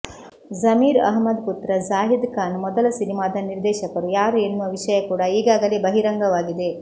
ಜಮೀರ್ ಅಹ್ಮದ್ ಪುತ್ರ ಜಾಹಿದ್ ಖಾನ್ ಮೊದಲ ಸಿನಿಮಾದ ನಿರ್ದೇಶಕರು ಯಾರು ಎನ್ನುವ ವಿಷಯ ಕೂಡ ಈಗಾಗಲೇ ಬಹಿರಂಗವಾಗಿದೆ